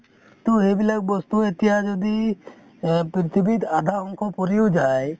তʼ সেইবিলাক বস্তু তʼ এতিয়া যদি আ পৃথিৱীত আধা অংশ পুৰি ও যায়